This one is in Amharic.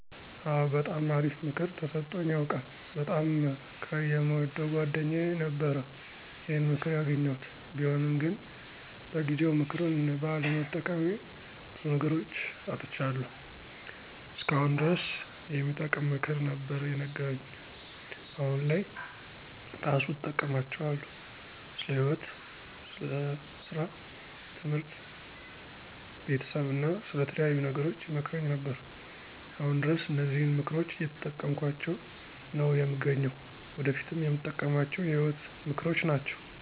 አወ! በጣም አሪፍ ምክር ተሰጦኝ ያውቃል። በጣም ከየምወደው ጓደኛየ ነበረ ይሄን ምክር ያገኘሁት። ቢሆንም ግን በጊዜው ምክሩን ባለመጠቀሜ በዙ ነገሮች አጥቻለሁ። እስከ አሁን ድረስ የሚጠቅም ምክር ነበር የነገረኝ። አሁን ላይ እራሱ እጠቀማቸዋለሁ። ስለ ህይወት፣ ሰራ፣ ትምህርት፣ ቤተሰብ አና ስለተለያዩ ነገሮች ይመክረኝ ነበር። አሁን ድረስ እነዚህን ምክሮች እየተጠቀምኳቸው ነው የምገኘው። ወደፊትም የምጠቀማቸው የህይወት ምክሮች ናቸው።